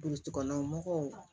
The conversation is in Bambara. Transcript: Biriki kɔnɔ mɔgɔw